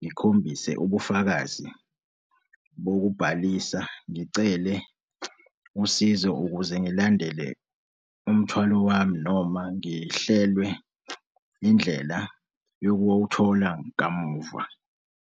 ngikhombise ubufakazi bokubhalisa, ngicele usizo ukuze ngilandele umthwalo wami noma ngihlelwe indlela yokuwowuthola kamuva.